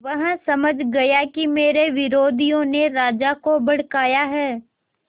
वह समझ गया कि मेरे विरोधियों ने राजा को भड़काया है